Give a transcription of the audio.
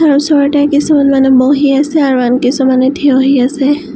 ওচৰতে কিছুমান মানুহ বহি আছে আৰু আন কিছুমান মানুহ থিয় হৈ আছে।